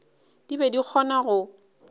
di be di kgona go